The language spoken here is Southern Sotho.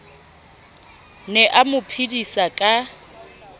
ne a mo phedisa ka